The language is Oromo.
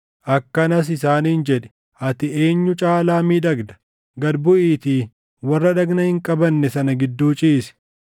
Akkanas isaaniin jedhi; ‘Ati eenyu caalaa miidhagda? Gad buʼiitii warra dhagna hin qabanne sana gidduu ciisi.’